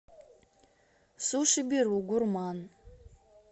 сушиберу гурман